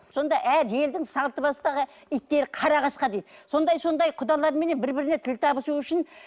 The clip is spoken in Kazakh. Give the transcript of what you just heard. сонда әр елдің салты басқа да иттері қара қасқа дейді сондай сондай құдаларменен бір бірімен тіл табысу үшін